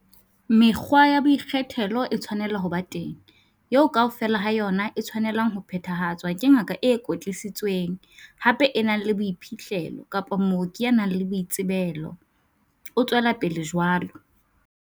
"Mekgwa ya boikgethelo e tshwanela ho ba teng, eo kaofela ha yona e tshwanelang ho phethahatswa ke ngaka e kwetlisitsweng, hape e nang le boiphihlelo, kapa mooki ya nang le boitsebelo," o tswela pele jwana.